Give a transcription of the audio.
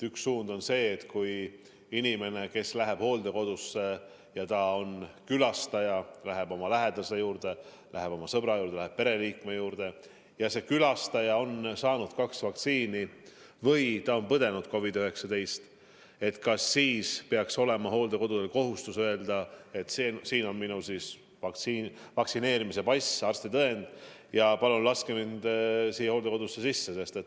Üks suund on see, et kui inimene, kes läheb külastajana hooldekodusse, läheb oma lähedase juurde, läheb oma sõbra juurde, läheb pereliikme juurde, on saanud kaks vaktsiinidoosi või on COVID-19 läbi põdenud, siis kas tal peaks olema kohustus hooldekodule öelda, et siin on minu vaktsineerimise pass ja arstitõend, palun laske mind hooldekodusse sisse.